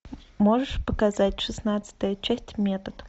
можешь показать шестнадцатая часть метод